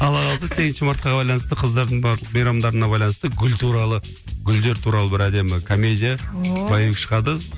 алла қаласа сегізінші мартқа байланысты қыздардың барлық мейрамдарына байланысты гүл туралы гүлдер туралы бір әдемі комедия шығады